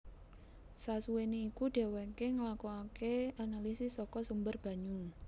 Sasuwene iku dheweke nglakokake analisis saka sumber banyu